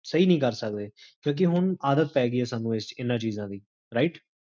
ਸਹੀ ਨੀ ਕਰ ਸਕਦੇ, ਕਿਓਂਕਿ ਹੁਣ ਆਦਤ ਪੈ ਗਈ ਹੈ ਸਾਨੂ ਇੰਨਾ ਚੀਜ਼ਾਂ ਦੀ, right?